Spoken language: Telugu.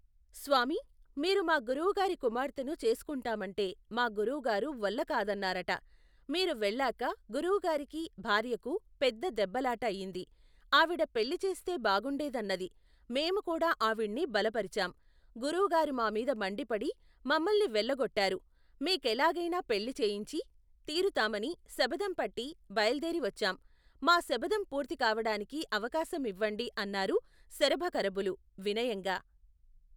స్వామీ మీరు మా గురువుగారి కుమార్తెను చేసుకుంటామంటే మా గురువు గారు వల్లకాదన్నారట మీరు వెళ్ళాక గురువుగారికీ భార్యకూ పెద్ద దెబ్బలాట అయింది ఆవిడ పెళ్లిచేస్తే బాగుండేదన్నది మేముకూడా ఆవిణ్ణి బలపరిచాం గురువు గారు మామీద మండిపడి మమ్మల్ని వెళ్ళగొట్టారు మీ కెలాగయినా పెళ్లి చేయించి తీరుతామని శపధంపట్టి బయలుదేరి వచ్చాం మా శపథం పూర్తికావటానికి అవకాశం ఇవ్వండి అన్నారు శరభకరభులు, వినయంగా.